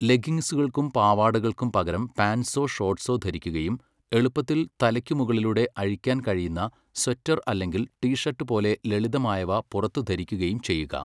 ലെഗ്ഗിങ്സുകൾക്കും പാവാടകൾക്കും പകരം പാന്റ്സോ ഷോർട്ട്സോ ധരിക്കുകയും എളുപ്പത്തിൽ തലക്കുമുകളിലൂടെ അഴിക്കാൻ കഴിയുന്ന സ്വെറ്റർ അല്ലെങ്കിൽ ടി ഷർട്ട് പോലെ ലളിതമായവ പുറത്ത് ധരിക്കുകയും ചെയ്യുക.